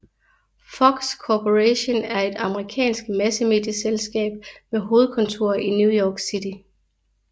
Fox Corporation er et amerikansk massemedieselskab med hovedkontor i New York City